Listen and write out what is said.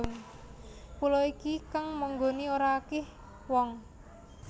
Pulo iki kang manggoni ora akih wong